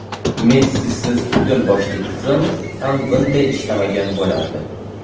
Messisiz butun boshli tizim ham bunday ishlamagan bo‘lardi.